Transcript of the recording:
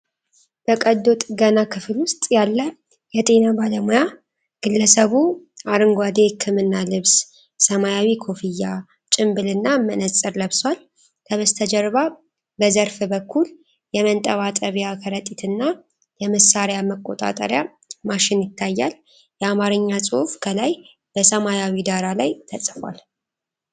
በቀዶ ጥገና ክፍል ውስጥ ያለ የጤና ባለሙያ ። ግለሰቡ አረንጓዴ የሕክምና ልብስ፣ ሰማያዊ ኮፍያ፣ ጭንብልና መነጽር ለብሷል። ከበስተጀርባ በዘርፍ በኩል የመንጠባጠብያ ከረጢትና የመሳሪያ መቆጣጠሪያ ማሽን ይታያል። የአማርኛ ጽሑፍ ከላይ በሰማያዊ ዳራ ላይ ተጽፏል።